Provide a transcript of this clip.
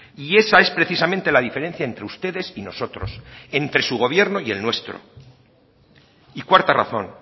y esa es precisamente la diferencia entre ustedes y nosotros entre su gobierno y el nuestro y cuarta razón